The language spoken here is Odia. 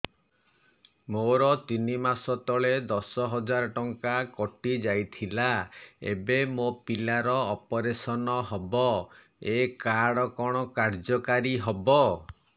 ମୋର ତିନି ମାସ ତଳେ ଦଶ ହଜାର ଟଙ୍କା କଟି ଯାଇଥିଲା ଏବେ ମୋ ପିଲା ର ଅପେରସନ ହବ ଏ କାର୍ଡ କଣ କାର୍ଯ୍ୟ କାରି ହବ